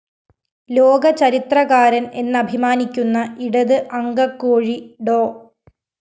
ലോകചരിത്രകാരന്‍ എന്നഭിമാനിക്കുന്ന ഇടത്‌ അങ്കക്കോഴി ഡോ